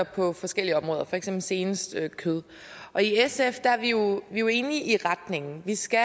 på forskellige områder for eksempel senest kød sf er jo jo enige i retningen vi skal